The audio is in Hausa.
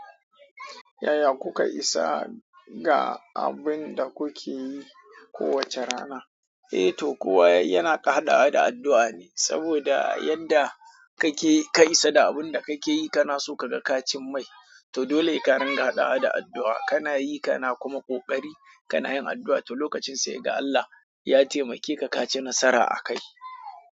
Yaya kuka isa ga abin da kuke yi kowace rana? E to, kowa yana hada hada da addu'a ne, saboda yanda kake ka isa da abin da kake yi kana so ka ga kacin mai. To dole ka ringa haɗawa da addu'a. Kana yi kana kuma kokari, kana yin addu'a, to lokacin sai kaga Allah ya taimake ka ka ci nasara a kai.